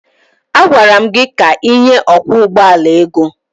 A gwara m gị ka ịnye ọkwọ ụgbọala ego!